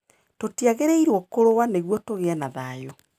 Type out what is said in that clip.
Tũtiagĩrĩirũo kũrũa nĩguo tũgĩe na thayũ.